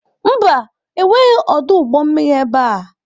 Mba, enweghị ọdụ ụgbọ mmiri ebe a.